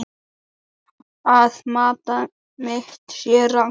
Að mat mitt sé rangt.